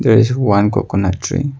There is one coconut tree.